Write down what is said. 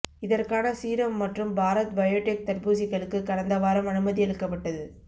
இதற்கான சீரம் மற்றும் பாரத் பயேடெக் தடுப்பூசிகளுக்குக் கடந்த வாரம் அனுமதி அளிக்கப்பட்டது